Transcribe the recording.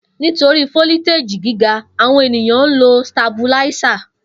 Nitori foliteji giga, awọn eniyan lo Stabilizer.